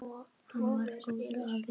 Hann var góður afi.